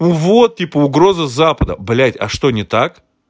вот типа угроза с запада блядь а что не так